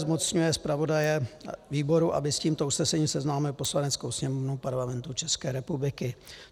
Zmocňuje zpravodaje výboru, aby s tímto usnesením seznámil Poslaneckou sněmovnu Parlamentu České republiky.